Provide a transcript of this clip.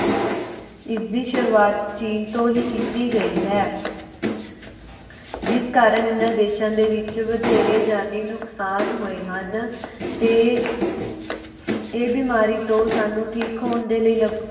ਇਸਦੀ ਸੁਰੁਵਾਤ ਚੀਨ ਤੋਂ ਹੀ ਕੀਤੀ ਗਈ ਹੈ। ਜਿਸ ਕਾਰਨ ਇਹਨਾਂ ਦੇਸ਼ਾਂ ਦੇ ਵਿਚ ਵਧੇਰੇ ਜਾਨਾ ਨੂੰ ਨੁਕਸਾਨ ਹੋਏ ਹਨ ਤੇ ਏਹ੍ਹ ਬਿਮਾਰੀ ਤੋਂ ਸਾਨੂ ਠੀਕ ਹੋਣ ਦੇ ਲਈ ਲੱਗ